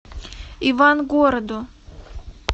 ивангороду